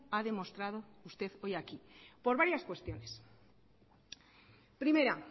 ha demostrado usted hoy aquí por varias cuestiones primera